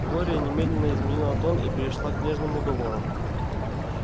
глория немедленно изменила тон и перешла к нежным уговорам